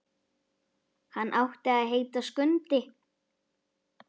Hann átti að heita Skundi.